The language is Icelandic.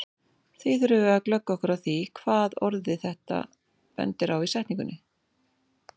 Því þurfum við að glöggva okkur á því hvað orðið þetta bendir á í setningunni.